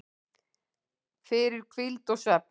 fyrir hvíld og svefn